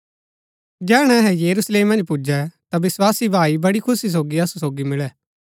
जैहणै अहै यरूशलेम मन्ज पुजै ता विस्वासी भाई बडी खुशी सोगी असु सोगी मुळै